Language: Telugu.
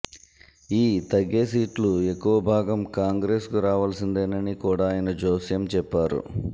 ఈ తగ్గే సీట్లు ఎక్కువ భాగం కాంగ్రెస్కు రావలసిం దేనని కూడా ఆయన జోస్యం చెప్పారు